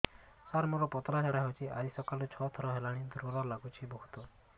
ସାର ମୋର ପତଳା ଝାଡା ହେଉଛି ଆଜି ସକାଳୁ ଛଅ ଥର ହେଲାଣି ଦୁର୍ବଳ ଲାଗୁଚି ବହୁତ